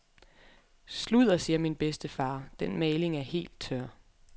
Sludder, siger min bedstefar, den maling er helt tør.